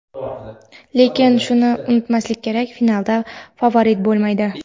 Lekin shuni unutmaslik kerak: "Finalda favorit bo‘lmaydi!".